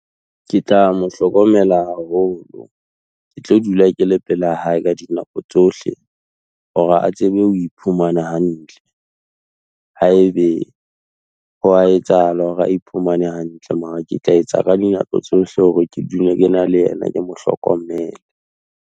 Ke tla mo hlokomela haholo, ke tlo dula ke le pela hae ka dinako tsohle, hore a tsebe ho iphumana hantle, ha e be ho a etsahala hore a iphumane hantle, mara ke tla etsa ka dinako tsohle hore ke dula ke na le yena, ke mo hlokomele.